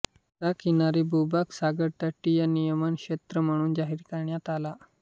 चा किनारी भूभाग सागरतटीय नियमन क्षेत्र म्हणून जाहीर करण्यात आला